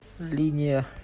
линия